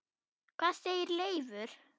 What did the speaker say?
Hvað segir Leifur?